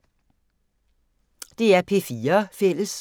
DR P4 Fælles